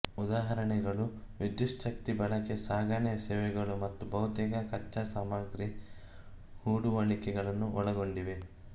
ಉದಾಹರಣೆಗಳು ವಿದ್ಯುಚ್ಛಕ್ತಿ ಬಳಕೆ ಸಾಗಣೆ ಸೇವೆಗಳು ಮತ್ತು ಬಹುತೇಕ ಕಚ್ಚಾ ಸಾಮಗ್ರಿ ಹೂಡುವಳಿಗಳನ್ನು ಒಳಗೊಂಡಿವೆ